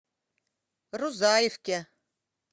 рузаевке